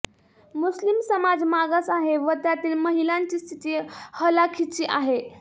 मुस्लीम समाज मागास आहे व त्यातील महिलांची स्थिती हलाखीची आहे